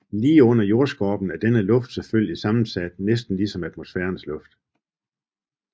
Lige under jordskorpen er denne luft selvfølgelig sammensat næsten lige som atmosfærens luft